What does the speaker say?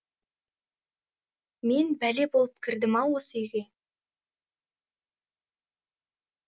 мен бәле болып кірдім ау осы үйге